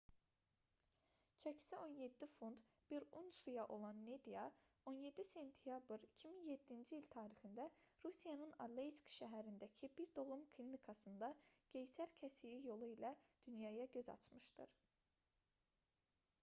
çəkisi 17 funt 1 unsiya olan nadya 17 sentyabr 2007-ci il tarixində rusiyanın aleysk şəhərindəki bir doğum klinikasında qeysər kəsiyi yolu ilə dünyaya göz açmışdır